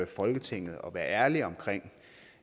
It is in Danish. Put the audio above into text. folketinget at være ærlig om